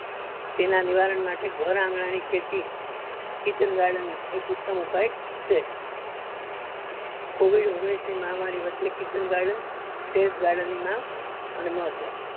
તેના નિવારણ માટે ઘર આંગણા ની ખેતી kitchen garden એક ઉત્તમ ઉપાય છે covid ઓગણીસ ની મહામારી વચે kitchen garden terrace garden ની માંગ અને